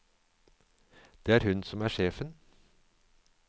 Det er hun som er sjefen.